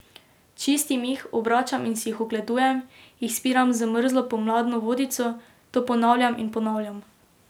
Čistim jih, obračam in si jih ogledujem, jih spiram z mrzlo pomladno vodico, to ponavljam in ponavljam.